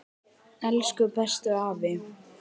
Elsku bestu afi.